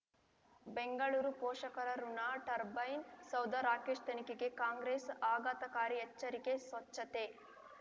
ಬೆಂಗಳೂರು ಪೋಷಕರಋಣ ಟರ್ಬೈನ್ ಸೌಧ ರಾಕೇಶ್ ತನಿಖೆಗೆ ಕಾಂಗ್ರೆಸ್ ಆಘಾತಕಾರಿ ಎಚ್ಚರಿಕೆ ಸ್ವಚ್ಛತೆ